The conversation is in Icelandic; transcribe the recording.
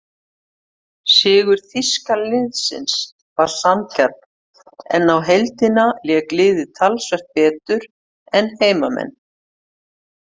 Sigur þýska liðsins var sanngjarn en á heildina lék liðið talsvert betur en heimamenn.